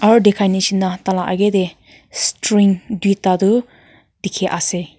mur dekha jisna tar laga age te string duita tu dekhi ase.